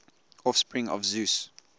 offspring of zeus